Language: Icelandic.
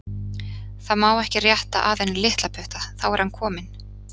Það má ekki rétta að henni litlaputta, þá er hann kominn.